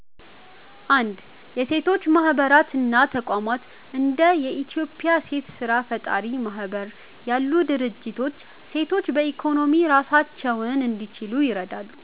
1. የሴቶች ማህበራት እና ተቋማት እንደ የኢትዮጵያ ሴት ስራ ፈጣሪዎች ማህበር ያሉ ድርጅቶች ሴቶች በኢኮኖሚ ራሳቸውን እንዲችሉ ይረዳሉ።